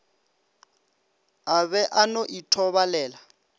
a be a no ithobalela